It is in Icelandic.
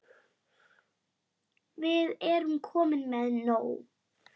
Við erum komin með nóg.